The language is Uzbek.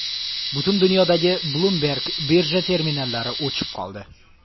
Butun dunyodagi Bloomberg birja terminallari o‘chib qoldi.